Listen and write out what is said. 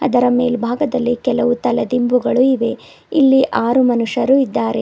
ಅದರ ಮೇಲ್ಭಾಗದಲ್ಲಿ ಕೆಲವು ತಲದಿಂಬುಗಳು ಇವೆ ಇಲ್ಲಿ ಆರು ಮನುಷ್ಯರು ಇದ್ದಾರೆ.